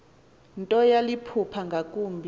nto yaliphupha ngakumbi